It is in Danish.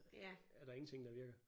Er der ingenting der virker